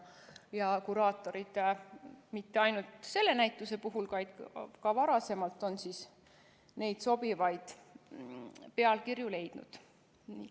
Kuraatorid on mitte ainult selle näituse puhul, vaid ka varasemalt neid sobivaid pealkirju leidnud.